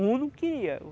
O único que ia.